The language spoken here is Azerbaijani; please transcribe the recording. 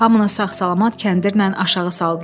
Hamını sağ-salamat kəndirlə aşağı saldılar.